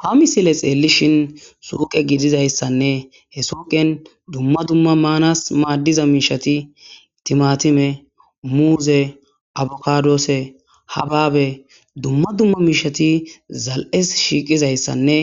Ha misile tseellishin suuqe gizizayssanne he suuqen dumma dumma maanaassi maaddiza miishshathi:- thimaathimee,muuzee,avokaadoosee,habaabee, dumma dumma miishshathi zal7es shiiqizayssanne